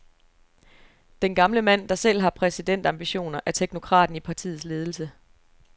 Den gamle mand, der selv har præsidentambitioner, er teknokraten i partiets ledelse.